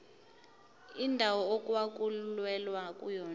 indawo okwakulwelwa kuyona